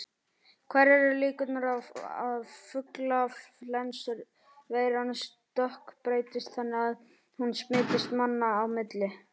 Hverjar eru líkurnar á að fuglaflensuveiran stökkbreytist þannig að hún smitist manna á milli?